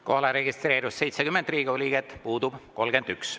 Kohalolijaks registreerus 70 Riigikogu liiget, puudub 31.